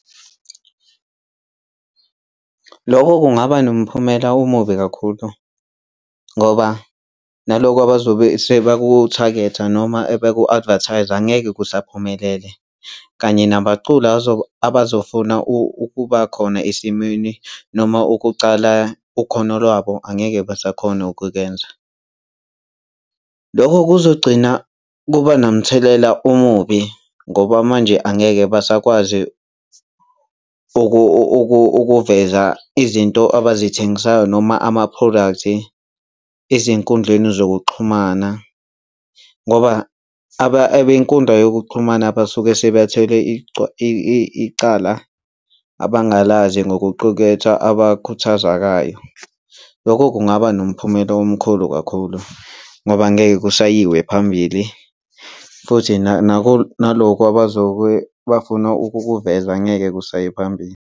Lokho kungaba nomphumela omubi kakhulu ngoba nalokho abazobe sebaku-target-a noma beku-advertise-a, angeke kusaphumelele kanye nabaculi abazofuna ukuba khona esimweni noma ukucala ukhono lwabo angeke basakhona ukukwenza. Lokho kuzogcina kuba nomthelela omubi ngoba manje angeke basakwazi ukuveza izinto abazithengisayo noma ama-products ezinkundleni zokuxhumana ngoba abey'nkundla yokuxhumana basuke sebathwele icala abangalazi ngokuquketha abakhuthazakayo. Lokho kungaba nomphumela omkhulu kakhulu ngoba angeke kushayiwe phambili futhi nalokho abazobe bafuna ukukuveza, angeke kusaye phambili.